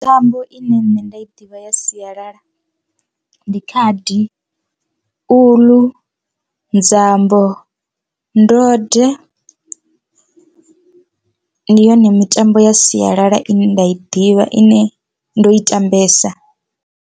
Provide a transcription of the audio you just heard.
Mitambo ine nṋe nda i ḓivha ya sialala ndi khadi, uḽu, nzambo, ndode ndi yone mitambo ya sialala ine nda i ḓivha ine ndo i tambesa.